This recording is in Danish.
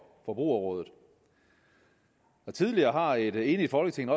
forbrugerrådet tidligere har et enigt folketing